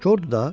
Kordur da.